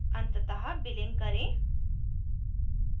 अंततः बिलिंग करें